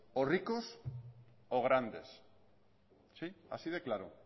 o ricos o grandes sí así de claro